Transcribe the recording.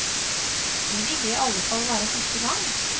Det ville i alle fall være første gang.